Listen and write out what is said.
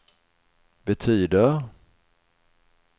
betyder